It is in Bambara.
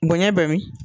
Bonɲɛ bɛɛ bi